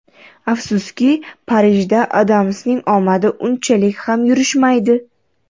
Afsuski, Parijda Adamsning omadi unchalik ham yurishmaydi.